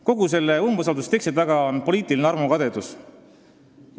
Kogu selle umbusaldusavalduse teksti taga on poliitiline armukadedus.